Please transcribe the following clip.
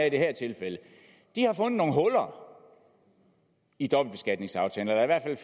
i det her tilfælde har fundet nogle huller i dobbeltbeskatningsaftalen